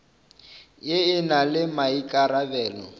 ye e na le maikarabelo